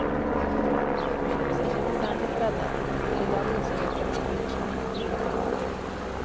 Sängen var ordentligt bäddad, det lilla reseväckaruret stod på fyra.